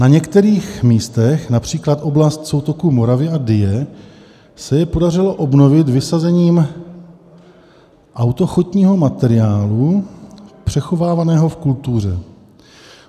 Na některých místech, například oblast soutoku Moravy a Dyje, se je podařilo obnovit vysazením autochtonního materiálu přechovávaného v kultuře.